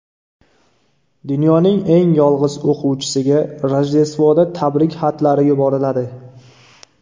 Dunyoning eng yolg‘iz o‘quvchisiga Rojdestvoda tabrik xatlari yuboriladi.